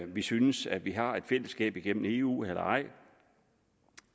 vi synes at vi har et fællesskab igennem eu eller ej